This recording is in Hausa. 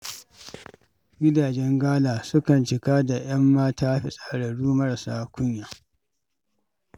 Gidajen gala sukan cika da 'yan mata fitsararru marasa kunya.